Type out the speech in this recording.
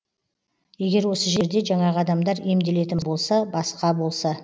егер осы жерде жаңағы адамдар емделетін болса басқа болса